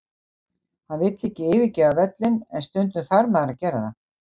Hann vill ekki yfirgefa völlinn, en stundum þarf maður að gera það.